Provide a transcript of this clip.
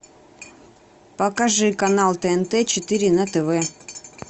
покажи канал тнт четыре на тв